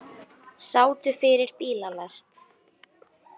Sátu fyrir bílalest